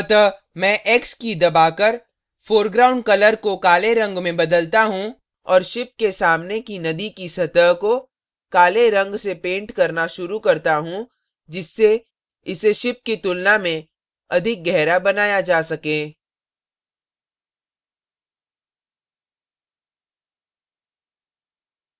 अतः मैं x की key दबाकर foreground color को काले रंग में बदलता हूँ और ship के सामने की नदी की सतह को काले रंग से पेंट करना शुरू करता हूँ जिससे इसे ship की तुलना में अधिक गहरा बनाया जा so